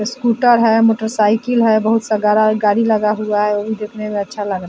scooter है motorcycle है बहुत सा गाड़ी लगा हुआ है उ दिखने में अच्छा लग रहा --